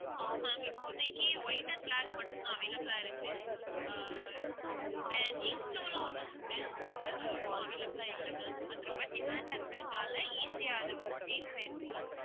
no ma'am இப்போதைக்கு white and black மட்டும் தான் available ஆ இருக்கு ஆஹ் then ink blue ல ஒண்ணு உண்டு அது இப்போ available ஆ இல்ல ma'am அது ரொம்ப demand ஆ இருக்கதுனால easy ஆ அது வந்து sales ஆகிடுது ma'am